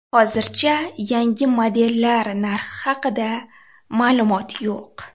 Hozircha yangi modellar narxi haqida ma’lumot yo‘q.